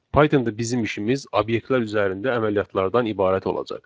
Pythonda bizim işimiz obyektlər üzərində əməliyyatlardan ibarət olacaq.